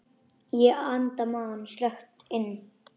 Ég anda maganum snöggt inn.